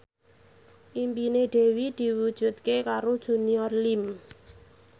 impine Dewi diwujudke karo Junior Liem